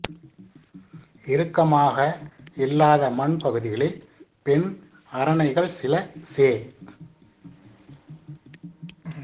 இறுக்கமாக இல்லாத மண் பகுதிகளில் பெண் அரணைகள் சில செ